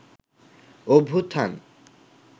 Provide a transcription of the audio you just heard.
অভ্যুত্থান